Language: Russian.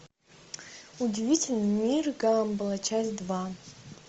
удивительный мир гамбола часть два